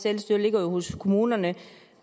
selvstyre jo ligger hos kommunerne